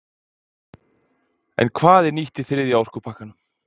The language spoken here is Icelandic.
En hvað er nýtt í þriðja orkupakkanum?